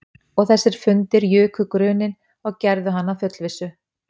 Og þessir fundir juku gruninn og gerðu hann að fullvissu